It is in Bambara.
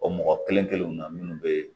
O mɔgɔ kelen kelenw na minnu bɛ yen